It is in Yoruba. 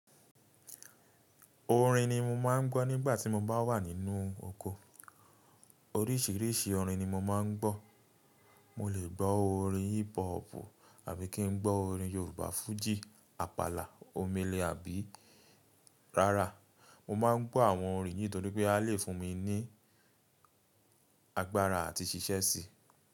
Orin ni mo máa ń gbọ́ nígbà tí mo bá wà nínú oko. Oríṣiríṣi orin ni mo máa ń gbọ́. Mo lè gbọ́ orin hip hopu àbí kí n gbọ́ orin Yorùbá fújì, àpàlà, omele àbí rárá. Mo máa ń gbọ́ àwọn orin yìí nítorí pé a lè fún mi ní agbára àti ṣíṣẹ́ síi.